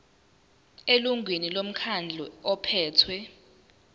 elungwini lomkhandlu ophethe